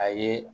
A ye